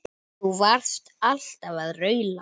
Þú varst alltaf að raula.